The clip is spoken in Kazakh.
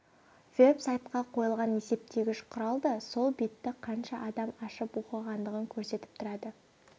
веб-сайтқа қойылған есептегіш құрал да сол бетті қанша адам ашып оқығандығын көрсетіп тұрады